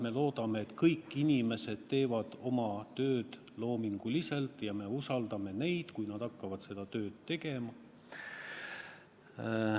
Me loodame, et kõik inimesed teevad oma tööd loominguliselt, ja me usaldame neid, kes hakkavad seda tööd tegema.